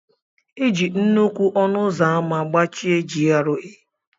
E ji nnukwu ọnụ ụzọ ámá gbachie GRA.